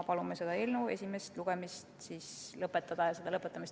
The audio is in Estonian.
Palume selle eelnõu esimene lugemine lõpetada ja seda toetada.